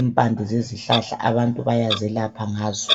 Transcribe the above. impande zezihlahla. Abantu bayazelapha ngazo.